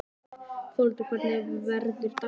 Þórhildur, hvernig verður dagskráin?